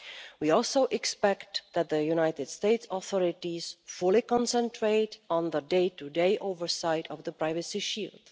We also expect that the United States authorities fully concentrate on the day to day oversight of the Privacy Shield.